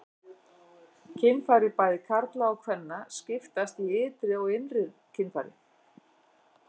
Kynfæri bæði karla og kvenna skiptast í ytri og innri kynfæri.